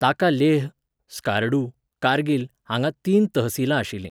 ताका लेह, स्कारडू, कारगिल हांगा तीन तहसिलां आशिल्लीं.